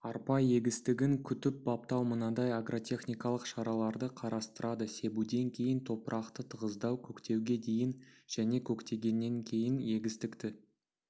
арпа егістігін күтіп-баптау мынадай агротехникалық шараларды қарастырады себуден кейін топырақты тығыздау көктеуге дейін және көктегеннен кейін егістікті